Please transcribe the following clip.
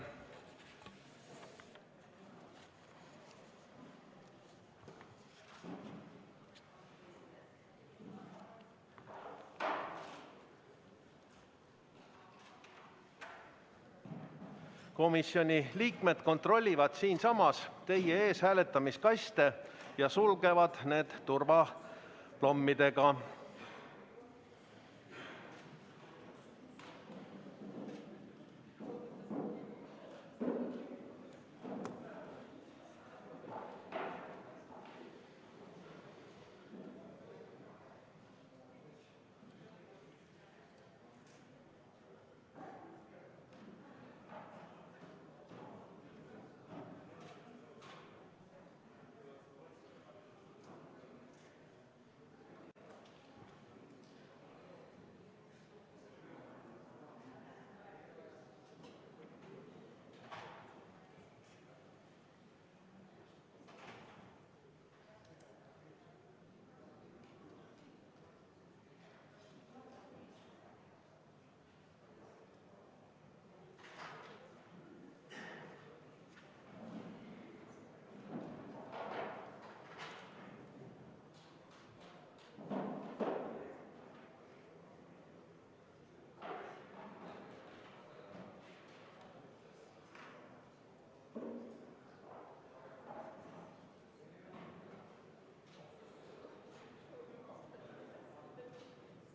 Komisjoni liikmed kontrollivad siinsamas teie ees hääletamiskaste ja sulgevad need turvaplommidega.